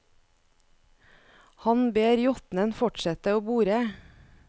Han ber jotnen fortsette å bore.